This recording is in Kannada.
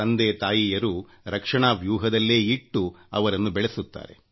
ಪಾಲಕರೂ ಸಹ ಮಕ್ಕಳನ್ನು ಸುರಕ್ಷತೆಯಿಂದ ಅವರನ್ನು ಬೆಳೆಸುತ್ತಾರೆ